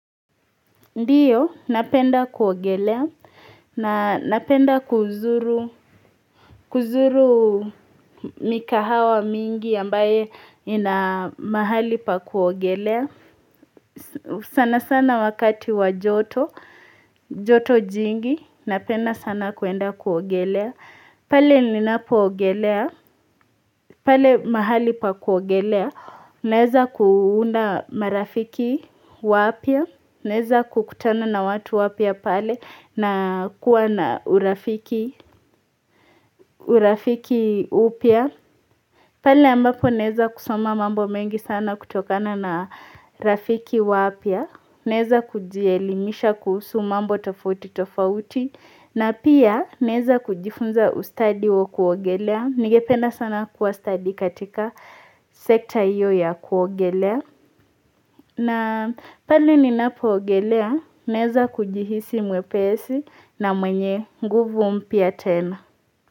Ndiyo, napenda kuogelea, na napenda kuzuru, kuzuru mikahawa mingi ambaye ina mahali pa kuogelea, sana sana wakati wa joto, joto jingi, napenda sana kuenda kuogelea, pale linapoogelea, pale mahali pa kuogelea, Neza kuunda marafiki wapya. Naeza kukutana na watu wapya pale na kuwa na urafiki upya. Pale ambapo naeza kusoma mambo mengi sana kutokana na rafiki wapya. Naeza kujielimisha kuhusu mambo tofauti tofauti. Na pia naeza kujifunza ustadi wa kuogelea. Ningependa sana kuwa stadi katika sekta hiyo ya kuogelea. Na pale ninapoogelea naeza kujihisi mwepesi na mwenye nguvu mpya tena.